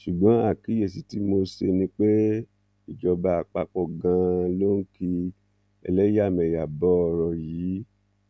ṣùgbọn àkíyèsí tí mo ṣe ni pé ìjọba àpapọ ganan ló ń ki ẹlẹyàmẹyà bọ ọrọ yìí